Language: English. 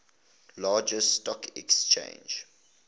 largest stock exchange